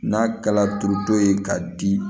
N'a kɛla du ye ka di